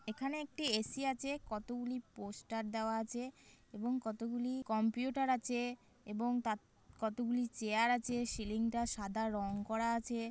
এখানে একটি এ.সি আছে কতগুলি পোস্টার দেওয়া আছে এবং কতগুলি কম্পিউটার আছে এবং কতগুলি চেয়ার আছে সিলিং - টা সাদা রঙ করা আছে।